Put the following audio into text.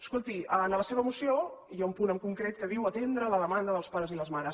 escolti en la seva moció hi ha un punt en concret que diu atendre la demanda dels pares i les mares